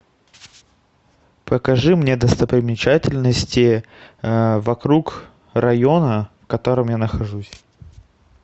покажи мне достопримечательности вокруг района в котором я нахожусь